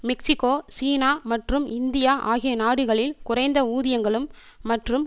Mexico சீனா மற்றும் India ஆகிய நாடுகளில் குறைந்த ஊதியங்களும் மற்றும்